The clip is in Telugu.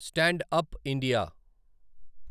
stand up India